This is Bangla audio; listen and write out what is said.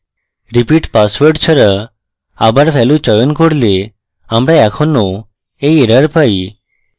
repeat পাসওয়ার্ড ছাড়া আবার value চয়ন করলে আমরা এখনও এই error পাই